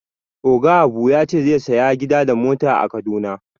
Oga Abu ya ce zai saya gida da mota a kaduna